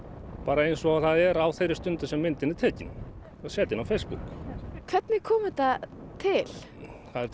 eins og það er á þeirri stundu sem myndin er tekin og set inn á Facebook hvernig kom þetta til það er þetta